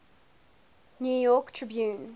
new york tribune